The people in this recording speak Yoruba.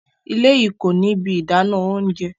Ìlẹ̀ yìí kòní ibi ìdánà ọ̀unṣẹ.